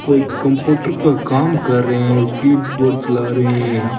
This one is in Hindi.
कोई कंप्यूटर का काम कर रहे हैं और कीबोर्ड चला रहे हैं।